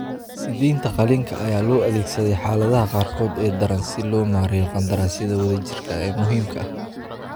Siideynta qaliinka ayaa loo adeegsaday xaaladaha qaarkood ee daran si loo maareeyo qandaraasyada wadajirka ah ee muhiimka ah.